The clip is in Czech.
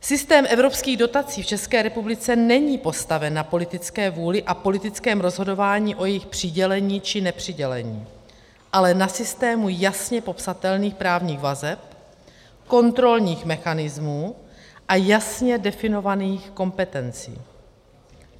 Systém evropských dotací v České republice není postaven na politické vůli a politickém rozhodováním o jejich přidělení či nepřidělení, ale na systému jasně popsatelných právních vazeb, kontrolních mechanismů a jasně definovaných kompetencí.